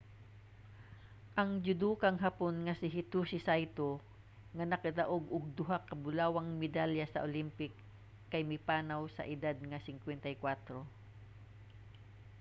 ang judokang hapon nga si hitoshi saito nga nakadaog og duha ka bulawang medalya sa olympic kay mipanaw sa edad nga 54